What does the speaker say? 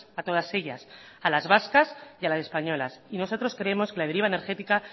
a todas ellas a las vascas y a las españolas y nosotros creemos que la deriva energética a